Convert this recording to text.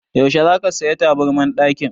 Yaushe za ka saya taburman ɗakin?